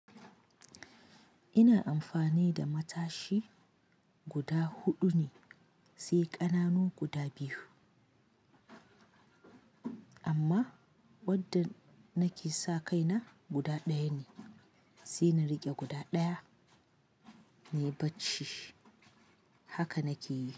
Ina amfani da matashi guda huɗu ne, sai ƙananu guda biyu. Amma wadda nake sa kaina guda ɗaya ne, sai na riƙe guda ɗaya, na yi bacci. Haka nake yi.